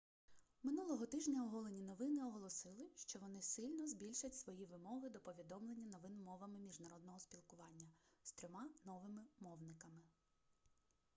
минулого тижня оголені новини оголосили що вони сильно збільшать свої вимоги до повідомлення новин мовами міжнародного спілкування з трьома новими мовниками